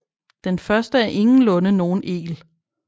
Den første er ingenlunde nogen egl